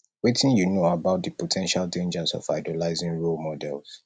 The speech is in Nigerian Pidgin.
wetin you know about di po ten tial dangers of idolizing role models